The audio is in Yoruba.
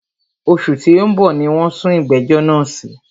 Òṣù tí o ń bọ̀ ní wọ́n sún ìgbẹ̀jọ́ náà sí.